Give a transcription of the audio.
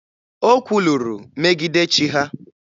O kwuluru megide chi ha.